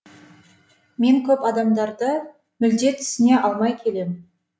мен көп адамдарды мүлде түсіне алмай келем